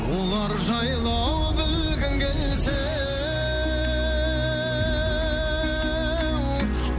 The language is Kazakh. олар жайлы ау білгің келсе еу